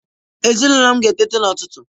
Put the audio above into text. Ezinụlọ m ga-eteta n'ụtụtụ.